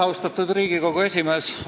Austatud Riigikogu esimees!